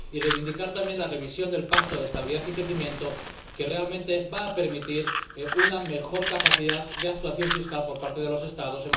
y para reivindicar también la revisión del Pacto de Estabilidad y Crecimiento, que realmente va a permitir una mejor capacidad de actuación fiscal por parte de los Estados.